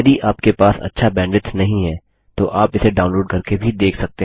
यदि आपके पास अच्छा बैंडविड्थ नहीं है तो आप इसे डाउनलोड़ करके भी देख सकते हैं